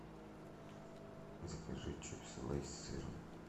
закажи чипсы лейс с сыром